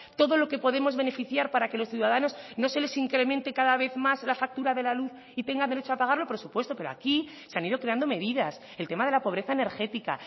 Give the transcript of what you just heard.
todo lo que podemos beneficiar para que a los ciudadanos no se les incremente cada vez más la factura de la luz y tengan derecho a pagarlo por supuesto pero aquí se han ido creando medidas el tema de la pobreza energética